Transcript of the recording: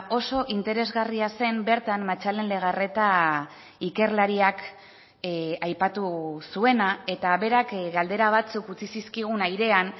oso interesgarria zen bertan matxalen legarreta ikerlariak aipatu zuena eta berak galdera batzuk utzi zizkigun airean